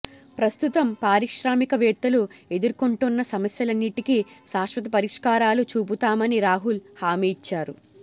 ప్రస్తుతం పారిశ్రామికవేత్తలు ఎదుర్కొంటున్న సమస్యలన్నింటికి శాశ్వత పరిష్కారాలు చూపుతామని రాహుల్ హామీ ఇచ్చారు